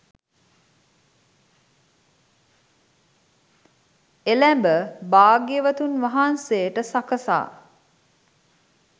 එළැඹ භාග්‍යවතුන් වහන්සේට සකසා